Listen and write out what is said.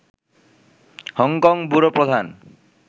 Hong Kong bureau প্রধান